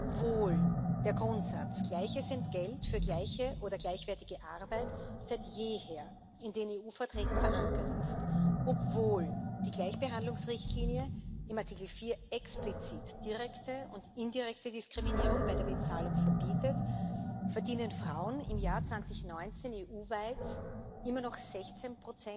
Obwohl der Grundsatz gleiches Entgelt für gleiche oder gleichwertige Arbeit seit jeher in den EU Verträgen verankert ist, obwohl die Gleichbehandlungsrichtlinie im Artikel 4 explizit direkte und indirekte Diskriminierung bei der Bezahlung verbietet, verdienen Frauen im Jahr 2019 EU weit pro Stunde immer noch 16